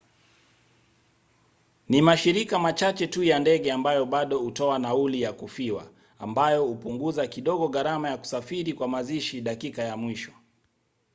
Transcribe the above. ni mashirika machache tu ya ndege ambayo bado hutoa nauli ya kufiwa ambayo hupunguza kidogo gharama ya kusafiri kwa mazishi dakika ya mwisho